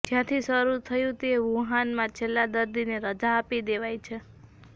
જ્યાંથી શરુ થયું તે વુહાનમાં છેલ્લા દર્દીને રજા આપી દેવાઈ છે